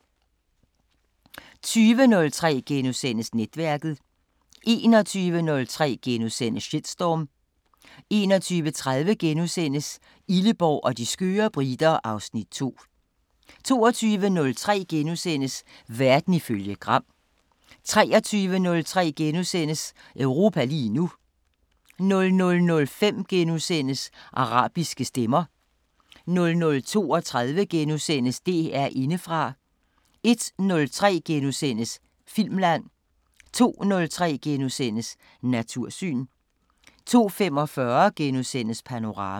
20:03: Netværket * 21:03: Shitstorm * 21:30: Illeborg og de skøre briter (Afs. 2)* 22:03: Verden ifølge Gram * 23:03: Europa lige nu * 00:05: Arabiske Stemmer * 00:32: DR Indefra * 01:03: Filmland * 02:03: Natursyn * 02:45: Panorama *